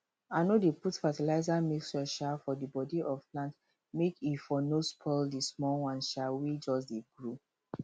i no dey put fetilizer mixture um for the body of plant make e for no spoil the small ones um wey just dey grow